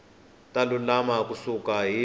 ta lulama ku suka hi